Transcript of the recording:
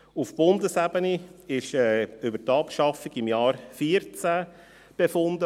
Auf Bundesebene wurde im Jahr 2014 über die Abschaffung befunden.